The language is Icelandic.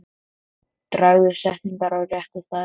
Dragðu setningar á rétta staði.